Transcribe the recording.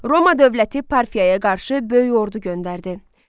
Roma dövləti Parfiyaya qarşı böyük ordu göndərdi.